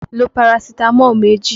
Lo Parasitamọ́ọ̀ méjì!